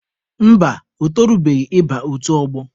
Mba, o torubeghị ịba otu ọgbọ.